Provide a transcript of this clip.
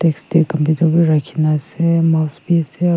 desk tae computer bi rakhina ase mouse bi ase--